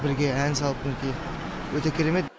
бірге ән салып мінекей өте керемет